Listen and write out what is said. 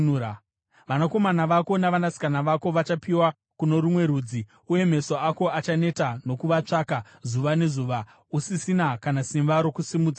Vanakomana vako navanasikana vako vachapiwa kuno rumwe rudzi, uye meso ako achaneta nokuvatsvaka zuva nezuva, usisina kana simba rokusimudza ruoko.